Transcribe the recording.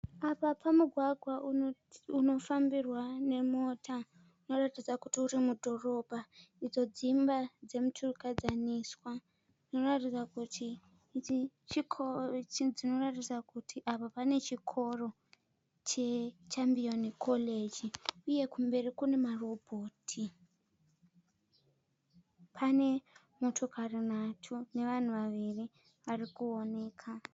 Apa pamugwagwa unofambirwa nemota unoratidza kuti uri mudhorobha. Idzo dzimba dzemuturikadzaniswa dzinoratidza kuti apa pane chikoro cheChambioni koreji uye kumberi kune marobhoti. Pane motokari nhatu nevanhu vaviri varikuoneka